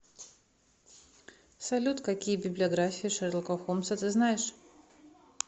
салют какие библиография шерлока холмса ты знаешь